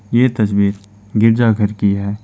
ये तस्वीर गिरजाघर की है।